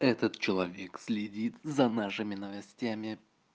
этот человек следит за нашими новостями